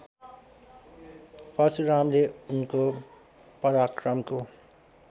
परशुरामले उनको पराक्रमको